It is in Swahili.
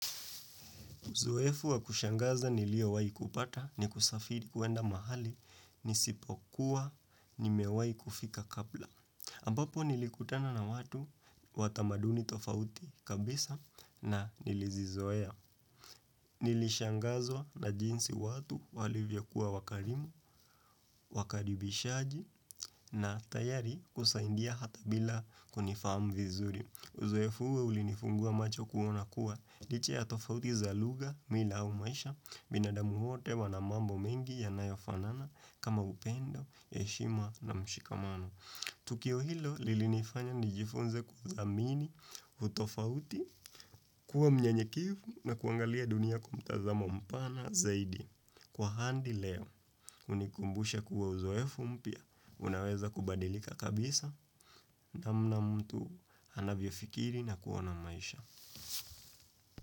Uzoefu wa kushangaza nilio wai kupata ni kusafiri kuenda mahali ni sipo kuwa ni mewai kufika kabla. Ambapo nilikutana na watu watamaduni tofauti kabisa na nilizizoea. Nilishangazwa na jinsi watu walivyokua wakarimu, wakaribishaji na tayari kusaindia hata bila kunifamu vizuri. Uzoefu huo ulinifungua macho kuona kuwa liche ya tofauti za lugha, mila au maisha, binadamu wote wana mambo mengi ya nayofanana kama upendo, heshima na mshikamano. Tukio hilo lilinifanya nijifunze kuzamini utofauti kuwa mnyenyekevu na kuangalia dunia kwa mtazamo mpana zaidi. Kwa hadi leo, unikumbusha kuwa uzoefu mpya, unaweza kubadilika kabisa namna mtu anavyiofikiri na kuona maisha.